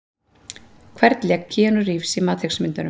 Hvern lék Keanu Reeves í Matrix myndunum?